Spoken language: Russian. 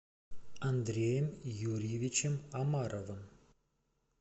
андреем юрьевичем омаровым